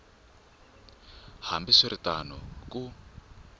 hambi swi ri tano ku